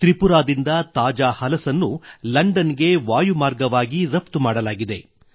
ತ್ರಿಪುರಾದಿಂದ ತಾಜಾ ಹಲಸನ್ನು ಲಂಡನ್ ಗೆ ವಾಯು ಮಾರ್ಗವಾಗಿ ರಫ್ತು ಮಾಡಲಾಗಿದೆ